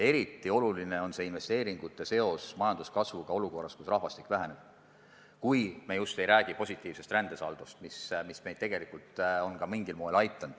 Eriti oluline on investeeringute seos majanduskasvuga olukorras, kus rahvastik väheneb – kui me just ei räägi positiivsest rändesaldost, mis meid tegelikult on samuti mingil moel aidanud.